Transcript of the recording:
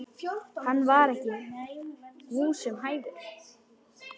Hann var ekki húsum hæfur.